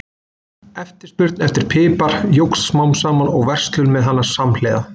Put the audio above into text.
Eftirspurn eftir pipar jókst smám saman og verslun með hann samhliða.